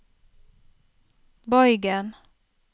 bøygen